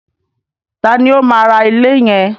Taàní ó máa ra ilé yẹn?